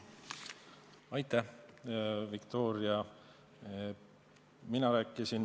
Aitäh, Viktoria!